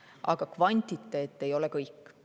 Aga kvantiteet ei ole kõik.